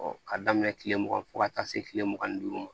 k'a daminɛ tile mugan fɔ ka taa se kile mugan ni duuru ma